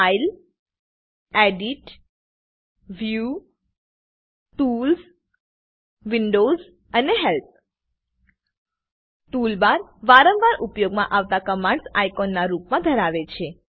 file edit view tools windows અને help toolbar વારંવાર ઉપયોગમાં આવતા કમાંડસ આઇકોન ના રૂપમાં ધરાવે છે